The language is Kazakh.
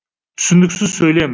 түсініксіз сөйлем